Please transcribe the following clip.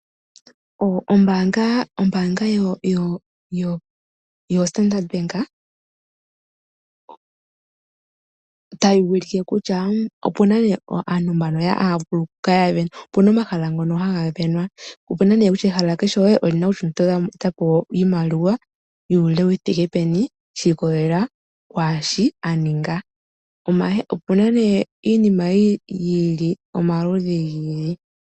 Ombaanga yoStandard Bank otayi ulike kutya opu na omahala ngono haga sindanwa, ehala kehe pu na nduno kutya omuntu ota pewa oshimaliwa shi thike peni shi ikolelela kwaashi a ninga. Opu na nduno iinima yomaludhi gi ili nogi ili.